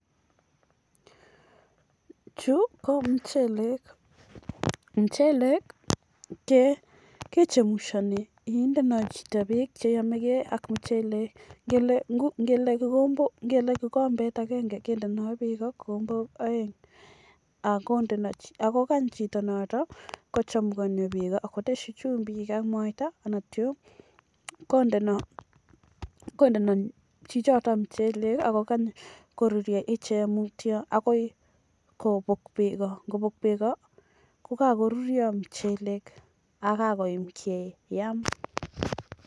chuu ko mcheleek mcheleeek kechemushanii muchheleek kendoi peek chelalangeen ak kindei chumbik ak kikeny koruryo asikeam kityo